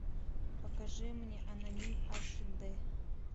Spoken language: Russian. покажи мне аноним аш д